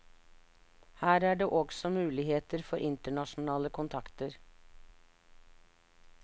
Her er det også muligheter for internasjonale kontakter.